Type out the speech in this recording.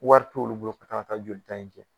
Wɔri t'olu bolo ka kan ŋa taa jolita in kɛ